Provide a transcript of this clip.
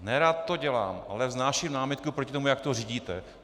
Nerad to dělám, ale vznáším námitku proti tomu, jak to řídíte.